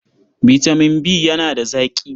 Bitamin B yana da zaƙi.